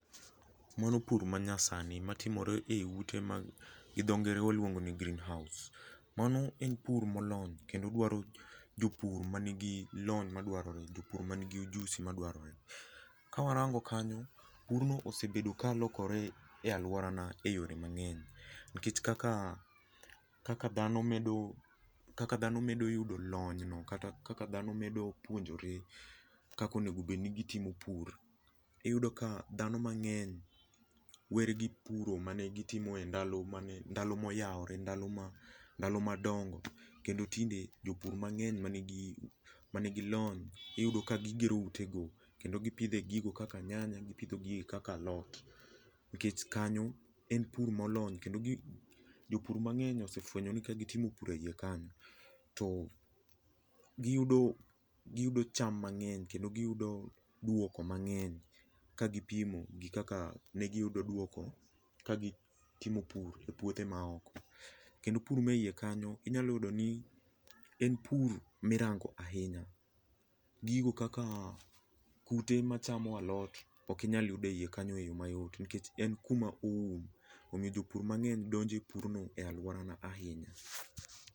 Mano pur manyasani matimoree ute ma gi dho ngere waluongo ni greenhouse, mano en pur molony kendo dwao jopur manigi lony madwarore, jopur manigi ujusi ema dwarore. Ka warango kanyo purno ossebedo ka lokore e aluora na e yore mangeny nikech kaka ,kaka dhano medo, kaka dhano medo yudo lony no kata kaka dhano medo puonjore kaka onego obed ni gitimo pur, iyudo ka dhano mangeny were gi puro mane gitimo e ndalo ,ndalo moyaore, ndalo madongo kendo tinde jopur mangeny manigi lony iyudo ka gero utego kendo gipidhe gigo kaka nyanya, gipidho gigo kaka alot nikech kanyo en pur molony kendo, jopur mangeny osefwenyo ni ka gitimo pur eiye kanyo, giyudo cham mangeny kendo giyudo duoko mangeny ka gipimo gi kaka ne giyudo duoko ka gitimo pur e puothe moko kendo pur manie iye kanyo inya yudo ni en pur mirango ahinya. Gigo kaka kute machamo alot ok inyal yudo e iye kanyo mayot nikech en kuma oum omiyo jopur mangeny donjo e purno e aluorna ahinya